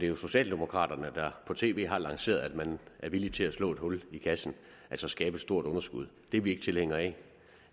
jo socialdemokraterne der på tv har lanceret at man er villig til at slå et hul i kassen altså skabe et stort underskud det er vi ikke tilhængere af